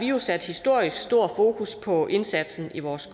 jo sat historisk stort fokus på indsatsen i vores